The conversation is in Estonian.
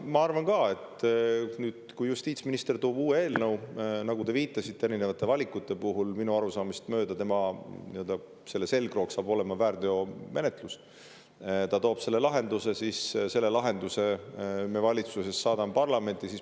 Ma arvan ka, et kui justiitsminister toob uue eelnõu, siis nagu te viitasite erinevatele valikutele, ka minu arusaamist mööda selle eelnõu nii-öelda selgroog saab olema väärteomenetlus, eelnõu toob selle lahenduse ja selle lahenduse me valitsusest saadame parlamenti.